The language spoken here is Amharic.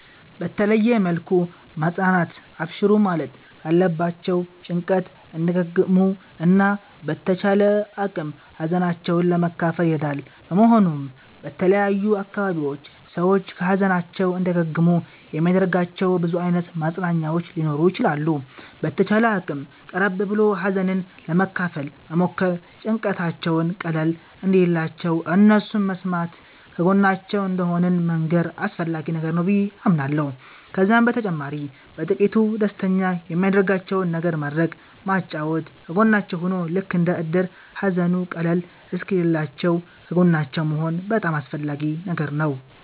በተለየ መልኩ ማፅናናት አብሽሩ ማለት ካለባቸዉ ጭንቀት እንዲያገግሙ እና በተቻለ አቅም ሀዘናቸዉን ለመካፈል ይረዳል በመሆኑም በተለያዩ አካባቢዎች ሰዎች ከ ሀዘናቸዉ እንዲያገግሙ የሚያደርጋቸዉ ብዙ አይነት ማፅናኛዎች ሊኖሩ ይችላሉ። በተቻለ አቅም ቀረብ ብሎ ሀዘንን ለመካፈል መሞከር ጭንቀታቸዉም ቀለል እንዲልላቸዉ እነሱን መስማተ ከጎናቸዉ እንደሆንን መንገር አስፈላጊ ነገር ነዉ በዬ አምናለሁ። ከዛም በተጨማሪ በጥቂቱ ደስተኛ የሚያደርጋቸዉን ነገር ማድረግ ማጫወት ከጎናቸዉ ሁኖ ልክ እንደ እድር ሃዘኑ ቀለል እሰወኪልላችዉ ከጎናቸዉ መሆን በጣም አስፈላጊ ነገር ነዉ